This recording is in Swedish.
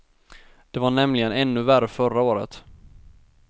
Det var nämligen ännu värre förra året.